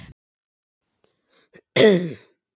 Refsing þyngd í Hæstarétti